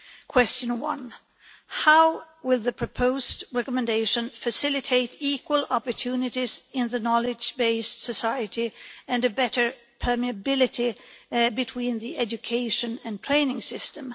Question 1 how will the proposed recommendation facilitate equal opportunities in the knowledge-based society and a better permeability between the education and training system?